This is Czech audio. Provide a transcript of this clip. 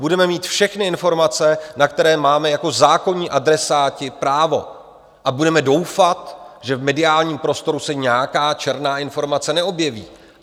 Budeme mít všechny informace, na které máme jako zákonní adresáti právo, a budeme doufat, že v mediálním prostoru se nějaká černá informace neobjeví.